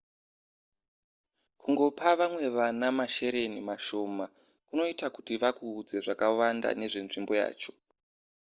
kungopa vamwe vana mashereni mashoma kunoita kuti vakuudze zvakawanda nezvenzvimbo yacho